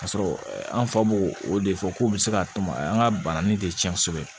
Ka sɔrɔ an fa b'o o de fɔ k'u bɛ se ka tɔn an ka banani de tiɲɛ kosɛbɛ